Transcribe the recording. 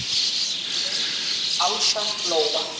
Mynd Alda Lóa.